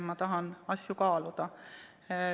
Ma tahan asju kaaluda.